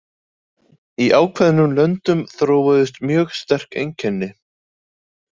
Í ákveðnum löndum þróuðust mjög sterk einkenni.